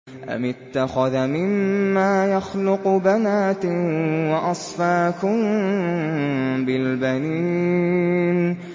أَمِ اتَّخَذَ مِمَّا يَخْلُقُ بَنَاتٍ وَأَصْفَاكُم بِالْبَنِينَ